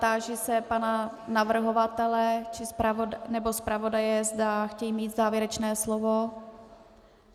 Táži se pana navrhovatele nebo zpravodaje, zda chtějí mít závěrečné slovo.